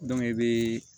i bɛ